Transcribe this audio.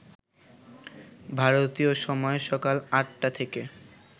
ভারতীয় সময় সকাল আটটা থেকে